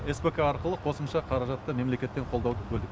спк арқылы қосымша қаражатты мемлекеттен қолдауды бөлдік